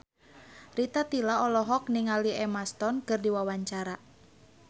Rita Tila olohok ningali Emma Stone keur diwawancara